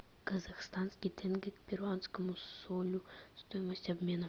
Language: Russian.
казахстанский тенге к перуанскому солю стоимость обмена